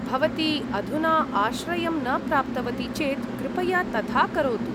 भवती अधुना आश्रयं न प्राप्तवती चेत् कृपया तथा करोतु।